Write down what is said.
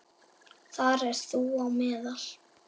Þar ert þú á meðal.